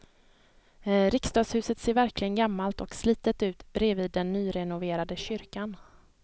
Riksdagshuset ser verkligen gammalt och slitet ut bredvid den nyrenoverade kyrkan.